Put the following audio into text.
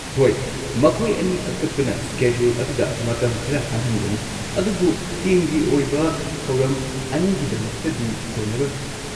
ꯍꯣꯏ, ꯃꯈꯣꯏ ꯑꯅꯤ ꯀꯛꯊꯠꯄꯅ ꯁ꯭ꯀꯦꯗꯨꯜ ꯑꯗꯨꯗ ꯃꯇꯝ ꯈꯔ ꯍꯥꯡꯍꯟꯒꯅꯤ, ꯑꯗꯨꯕꯨ ꯇꯤꯝꯒꯤ ꯑꯣꯏꯕ ꯊꯧꯔꯝ ꯑꯅꯤꯒꯤꯗꯃꯛꯇꯗꯤ ꯀꯣꯟꯅꯔꯣꯏ꯫